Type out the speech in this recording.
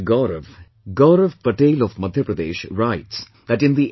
Gaurav, Gaurav Patel of Madhya Pradesh writes that in the M